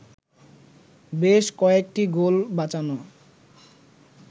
বেশ কয়েকটি গোল বাঁচানো